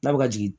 N'a bɛ ka jigin